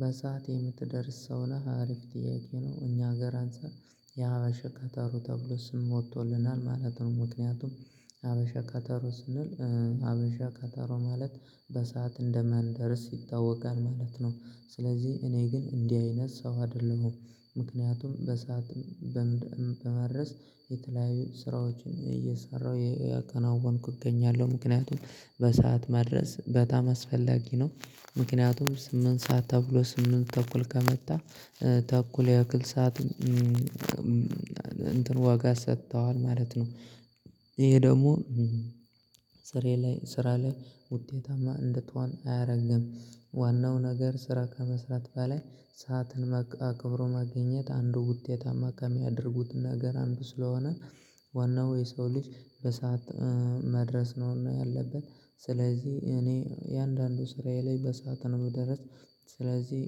በሰአት የምትደርስ ሰው ነህ አሪፍ ጥያቄ ነው እኛ ሀገር አንፃር የሀበሻ ቀጠሮ ተብሎ ስም ወጥቶልናል ማለት ነው። ምክንያቱም ሀበሻ ቀጠሮ ስንል ሀበሻ ቀጠሮ ማለት በሰአት እንደማንደርስ ይታወቃል ማለት ነው። ስለዚህ እኔ ግን እንዲህ አይነት ሰው አይደለሁም። ምክንያቱም በሰአት በምድር በመድረስ የተለያዩ ስራዎችን እየሰራሁ ያከናውንኩ እገኛለሁ ምክንያቱም በሰአት መድረስ በጣም አስፈላጊ ነው። ምክንያቱም ስምንት ሰዓት ተብሎ ስምንት ተኩል ከመጣ ተኩል ያክል ሰዓት እንትን ዋጋ ሰጥተዋል ማለት ነው። ይሄ ደግሞ ስራ ላይ ስራ ላይ ውጤታማ እንድትሆን አያረግም። ዋናው ነገር ስራ ከመስራት በላይ ሰዓትን አክብሮ መገኘት አንዱ ውጤታማ ከሚያደርጉት ነገር አንዱ ስለሆነ። ዋናው የሰው ልጅ በሰአት መድረስ ነውና ያለብን ስለዚህ እኔ እያንዳንዱ ስራዬ ላይ በሰአት ነው እምደርስ። ስለዚህ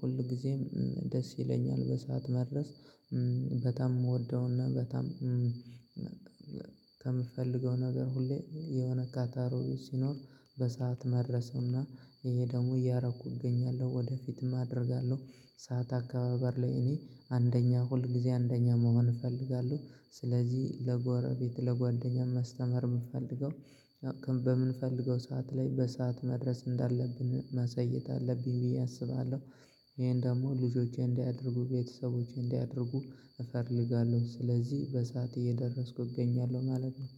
ሁል ጊዜም ደስ ይለኛል በሰአት መድረስ። በጣም እወደውና በጣም ከምፈልገው ነገር ሁሌ የሆነ ቀጠሮ ሲኖር በሰአት መድረስ እና ይሄ ደግሞ እያረኩ እገኛለሁ ወደፊትም አደርጋለሁ። ሰዓት አካባበር ላይ እኔ አንደኛ ሁልጊዜ አንደኛ መሆን እፈልጋለሁ። ስለዚህ ለጎረቤት ለጓደኛ ማስተማር የምፈልገው በምንፈልገው ሰዓት ላይ በሰአት መድረስ እንዳለብን ማሳየት አለብኝ ብዬ አስባለሁ። ይሄን ደግሞ ልጆቼ እንዲያደርጉ ቤተሰቦቼ እንዲያደርጉ እፈልጋለሁ ስለዚህ በሰአት እየደረስኩ እገኛለሁ ማለት ነው